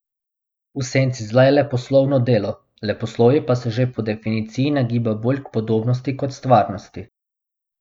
V senci zla je leposlovno delo, leposlovje pa se že po definiciji nagiba bolj k podobnosti kot stvarnosti.